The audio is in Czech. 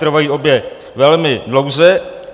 Trvají obě velmi dlouze.